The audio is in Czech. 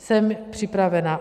Jsem připravena.